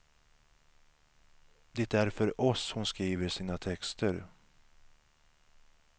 Det är för oss hon skriver sina texter.